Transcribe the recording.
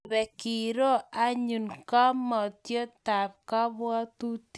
Ngebe kero anyun ngamotiotab kabwatutik